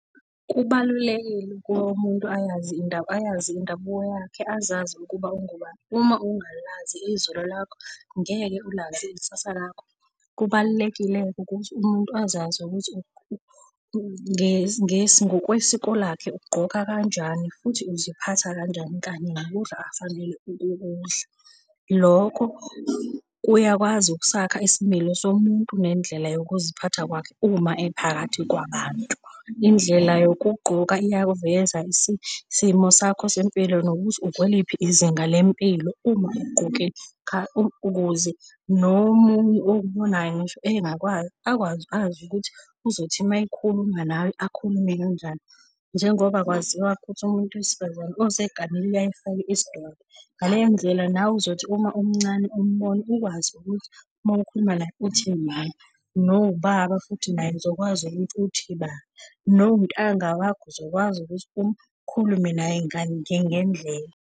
Kubalulekile ukuba umuntu ayazi ayazi indabuko yakhe, azazi ukuba ungubani. Uma ungalazi izolo lakho, ngeke ulazi ikusasa lakho. Kubalulekile-ke ukuthi umuntu azazi ukuthi ngokwesiko lakhe ugqoka kanjani futhi uziphatha kanjani, kanye nokudla afanele ukukudla. Lokho kuyakwazi ukusakha isimilo somuntu nendlela yokuziphatha kwakhe uma ephakathi kwabantu. Indlela yokugqoka iyakuveza isimo sakho sempilo nokuthi ukweliphi izinga lempilo uma ukuze nomunye okubonayo ngisho engakwazi akwazi azi ukuthi uzothi uma ekhuluma nawe akhulume kanjani, njengoba kwaziwa ukuthi umuntu wesifazane oseganile uyaye efake isidwaba. Ngaleyo ndlela nawe uzothi uma umncane umbona ukwazi ukuthi uma ukhuluma naye uthi mama. Nowubaba futhi naye uzokwazi ukuthi uthi ba, noma untanga wakho uzokwazi ukuthi ukhulume naye ngendlela